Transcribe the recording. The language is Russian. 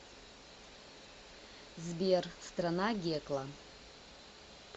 сбер страна гекла